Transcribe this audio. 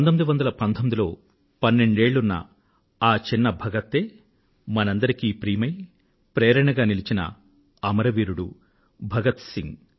1919లో పన్నెండేళ్ళున్న ఆ చిన్న భగతే మనందరికీ ప్రియమై ప్రేరణగా నిలచిన అమరవీరుడు భగత్ సింగ్